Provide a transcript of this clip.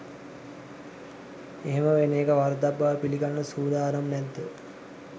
එහෙම වෙන එක වරදක් බව පිළිගන්න සූදානම් නැද්ද?